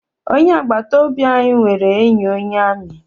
Onye agbata obi anyị nwere enyi onye amị.